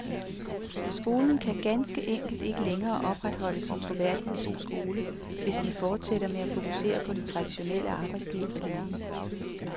Skolen kan ganske enkelt ikke længere opretholde sin troværdighed som skole, hvis den fortsætter med at fokusere på det traditionelle arbejdsliv alene.